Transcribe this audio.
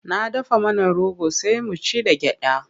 Na dafa mana rogo sai mu ci da gyaɗa.